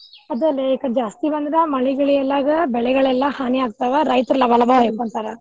ಆದಲೇ ಜಾಸ್ತಿ ಬಂದ್ರ್ ಮಳಿ ಗಿಳಿ ಇಲ್ಲಾಗ್ ಬೆಳೆಗಳೆಲ್ಲಾ ಹಾನಿ ಆಗ್ತಾವ. ರೈತ್ರ್ ಲಬ ಲಬ ಹೋಯ್ಕೊಂತವ.